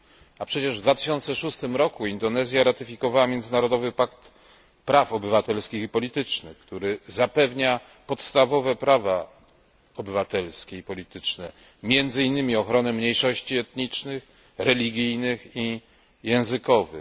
A przecież w 2006 roku Indonezja ratyfikowała międzynarodowy pakt praw obywatelskich i politycznych, który zapewnia podstawowe prawa obywatelskie i polityczne, między innymi ochronę mniejszości etnicznych, religijnych i językowych.